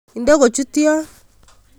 Ide kochut yon